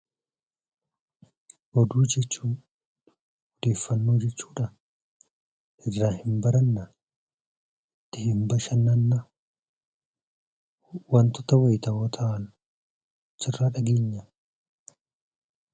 Oduu jechuun odeeffannoo jechuudhaa? irraa hin barannaa? ittiin bashannannaa? wantota wayitawoo ta'an achirraa dhageenyaa?